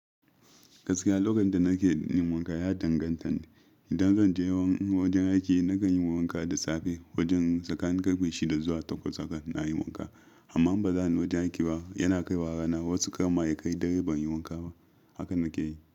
Gaskiya lokacin da nake yin wanka ya danganta. Idan zan je wajen aiki nakan yi wanka da safe wajen tsakanin karfe shida zuwa takwas haka na yi wanka. Amma ba zan wajen aiki ba yana kai rana. Wasu kamar ya kai dare ban yi wanka ba haka nake yi.